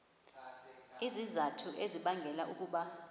izizathu ezibangela ukuba